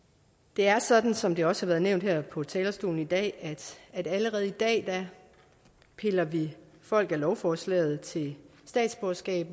det er sådan som det også har været nævnt her på talerstolen i dag at allerede i dag piller vi folk af lovforslaget til statsborgerskab